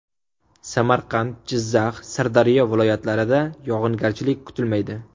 Samarqand, Jizzax, Sirdaryo viloyatlarida yog‘ingarchilik kutilmaydi.